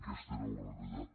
aquesta era la realitat